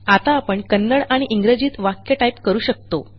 आता आपण कन्नड आणि इंग्रजीत वाक्य टाईप करू शकतो